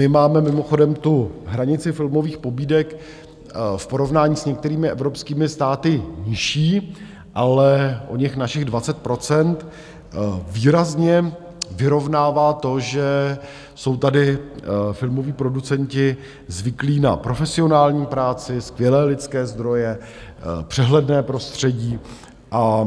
My máme mimochodem tu hranici filmových pobídek v porovnání s některými evropskými státy nižší, ale oněch našich 20 % výrazně vyrovnává to, že jsou tady filmoví producenti zvyklí na profesionální práci, skvělé lidské zdroje, přehledné prostředí, a